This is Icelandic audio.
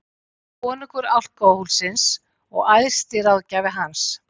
Konungur alkóhólsins og æðsti ráðgjafi hans.